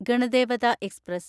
Ganadevata express